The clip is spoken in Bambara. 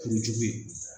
Kuru jugu ye